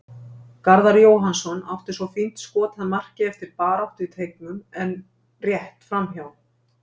Garðar Jóhannsson átti svo fínt skot að marki eftir baráttu í teignum en rétt framhjá.